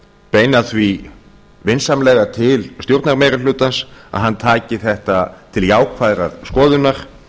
beina því vinsamlega til stjórnarmeirihlutans að hann taki þetta til jákvæðrar skoðunar